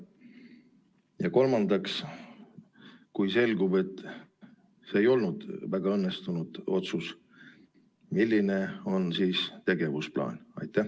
Ja kolmandaks, kui selgub, et see ei olnud väga õnnestunud otsus, siis milline on tegevusplaan?